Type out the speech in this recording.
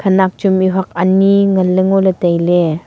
khanak chu mihuat ani ngan ley ngo tai ley.